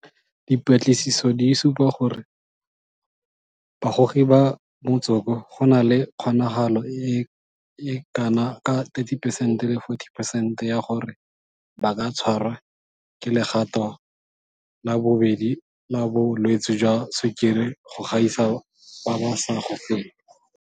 Dipatlisiso di supa gore bagogi ba motsoko go na le kgonagalo e e kana ka 30 percent le 40 percent ya gore ba ka tshwarwa ke legato la bobedi la bo lwetse jwa sukiri go gaisa ba ba sa gogeng.